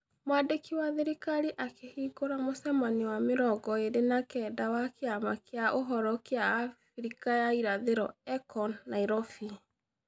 Mwandiki wa thirikari akĩhingũra mũcemanio wa mĩrongo ĩĩrĩ na kenda wa Kĩama kĩa Ũhoro kĩa Afrika ya Irathĩro (EACO) Nairobi.